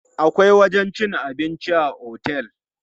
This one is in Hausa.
Akwai wajen cin abinci a otel.